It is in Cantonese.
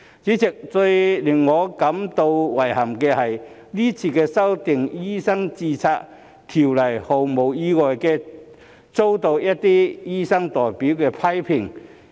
主席，最令我感到遺憾的是，今次修訂條例毫無意外地遭到一些醫生代表的批評。